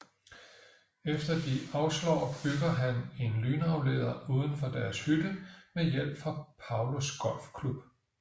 Efter de afslår bygger han en lynafleder uden for deres hytte med hjælp fra Paulos golfklub